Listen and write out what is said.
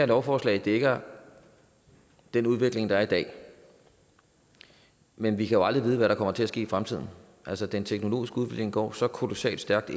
lovforslag dækker den udvikling der er i dag men vi kan jo aldrig vide hvad der kommer til at ske i fremtiden altså den teknologiske udvikling går så kolossalt stærkt